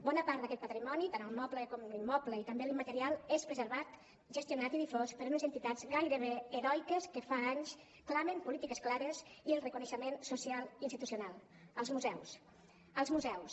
bona part d’aquesta patrimoni tant el moble com l’immoble i també l’immaterial és preservat gestionat i difós per unes entitats gairebé heroiques que fa anys clamen polítiques clares i el reconeixement social i institucional els museus els museus